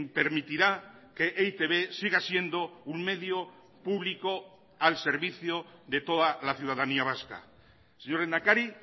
permitirá que e i te be siga siendo un medio público al servicio de toda la ciudadanía vasca señor lehendakari